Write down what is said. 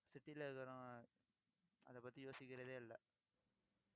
city ல இருக்கறவங்க, அதைப் பத்தி யோசிக்கிறதே இல்லை